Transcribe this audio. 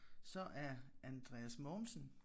Så er Andreas Mogensen